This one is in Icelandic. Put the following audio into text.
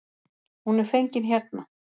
Hún er fengin hérna.